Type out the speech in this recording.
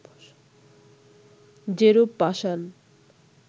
যেরূপ পাষাণ